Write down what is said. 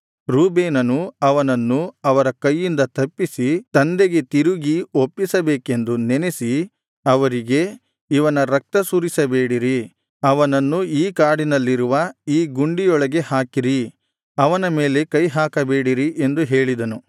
ರೂಬೇನನು ಅವನನ್ನು ಅವರ ಕೈಯಿಂದ ತಪ್ಪಿಸಿ ತಂದೆಗೆ ತಿರುಗಿ ಒಪ್ಪಿಸಬೇಕೆಂದು ನೆನಸಿ ಅವರಿಗೆ ಇವನ ರಕ್ತ ಸುರಿಸಬೇಡಿರಿ ಅವನನ್ನು ಈ ಕಾಡಿನಲ್ಲಿರುವ ಈ ಗುಂಡಿಯೊಳಗೆ ಹಾಕಿರಿ ಅವನ ಮೇಲೆ ಕೈಹಾಕಬೇಡಿರಿ ಎಂದು ಹೇಳಿದನು